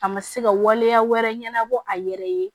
A ma se ka waleya wɛrɛ ɲɛnabɔ a yɛrɛ ye